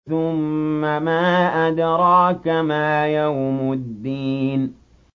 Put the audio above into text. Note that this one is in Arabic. ثُمَّ مَا أَدْرَاكَ مَا يَوْمُ الدِّينِ